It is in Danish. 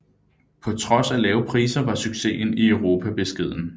På trods af lave priser var succesen i Europa beskeden